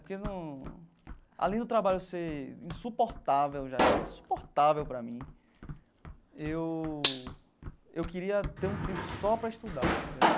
Porque não além do trabalho ser insuportável, já está insuportável para mim, eu eu queria ter um tempo só para estudar entendeu.